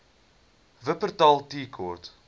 wupperthal tea court